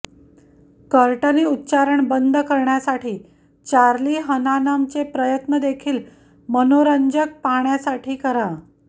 Courtney उच्चारण बंद करण्यासाठी चार्ली हनानम चे प्रयत्न देखील मनोरंजक पाहण्यासाठी करा